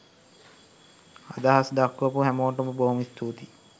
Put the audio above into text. අදහස් දක්වපු හැමෝටම බොහොම ස්තුතියි